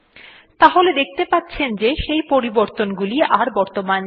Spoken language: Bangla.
তাহলে দেখতে পাচ্ছেন যে সেই পরিবর্তনগুলো আর বর্তমান নেই